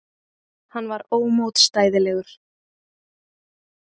Hann var ómótstæðilegur.